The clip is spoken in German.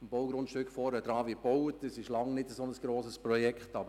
Auf einem benachbarten Grundstück wird ein längst nicht so grosses Bauprojekt realisiert.